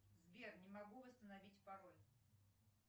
сбер не могу восстановить пароль